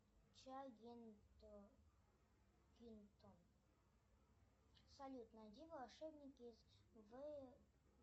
чагингтон салют найди волшебники из